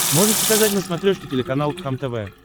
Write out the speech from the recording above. можешь показать на смотрешке телеканал кхлм тв